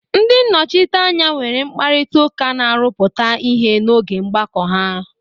Ndị nnọchiteanya nwere mkparịta ụka na-arụpụta ihe n'oge mgbakọ ahụ.